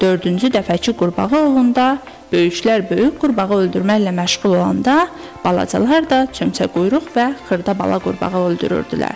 Dördüncü dəfə ki, qurbağa oğrunda böyüklər böyük qurbağa öldürməklə məşğul olanda balacalar da çömçə quyruq və xırda bala qurbağa öldürürdülər.